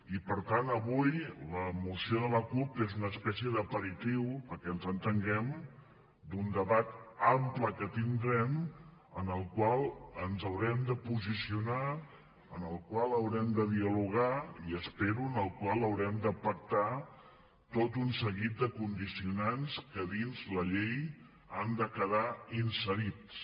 i per tant avui la moció de la cup és una espècie d’aperitiu perquè ens entenguem d’un debat ample que tindrem en el qual ens haurem de posicionar en el qual haurem de dialogar i ho espero en el qual haurem de pactar tot un seguit de condicionants que dins la llei han de quedar inserits